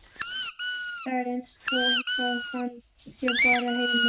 Það er eins gott að hann sé bara heima.